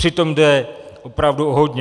Přitom jde opravdu o hodně.